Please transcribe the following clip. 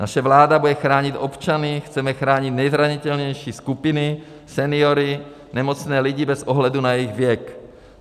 Naše vláda bude chránit občany, chceme chránit nejzranitelnější skupiny, seniory, nemocné lidi bez ohledu na jejich věk.